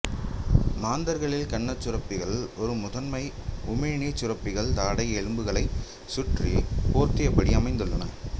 மாந்தர்களில் கன்னச் சுரப்பிகள் இரு முதன்மை உமிழ்நீர்ச் சுரப்பிகள் தாடை எலும்புகளைச் சுற்றி போர்த்தியபடி அமைந்துள்ளன